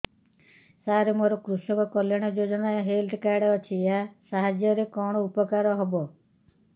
ସାର ମୋର କୃଷକ କଲ୍ୟାଣ ଯୋଜନା ହେଲ୍ଥ କାର୍ଡ ଅଛି ଏହା ସାହାଯ୍ୟ ରେ କଣ ଉପକାର ହବ